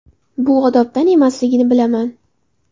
Bu odobdan emasligini bilaman.